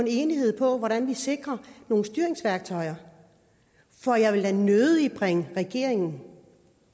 enighed om hvordan vi sikrer nogle styringsværktøjer for jeg vil da nødig bringe regeringen